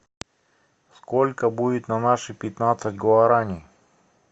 сколько будет на наши пятнадцать гуарани